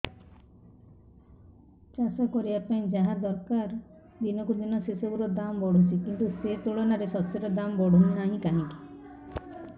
ଚାଷ କରିବା ପାଇଁ ଯାହା ଦରକାର ଦିନକୁ ଦିନ ସେସବୁ ର ଦାମ୍ ବଢୁଛି କିନ୍ତୁ ସେ ତୁଳନାରେ ଶସ୍ୟର ଦାମ୍ ବଢୁନାହିଁ କାହିଁକି